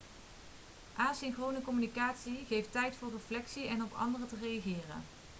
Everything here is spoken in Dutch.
asynchrone communicatie geeft tijd voor reflectie en om op anderen te reageren